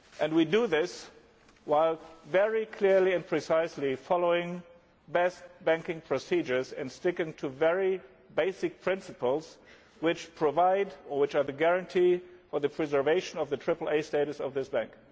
We do this while very clearly and precisely following best banking procedures and sticking to very basic principles which provide, or which are the guarantee of, the preservation of the triple A status of this Bank.